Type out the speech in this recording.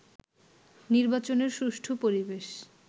নির্বাচনের সুষ্ঠু পরিবেশ